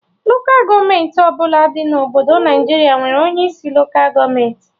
Lokal gọọmenti ọbụla dị na Obodo Naịjiria nwere onye isi Lokal gọọmenti